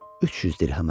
300 dirhəmə.